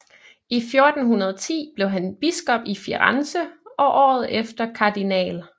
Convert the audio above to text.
I 1410 blev han biskop i Firenze og året efter Kardinal